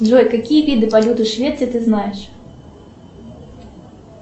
джой какие виды валюты швеции ты знаешь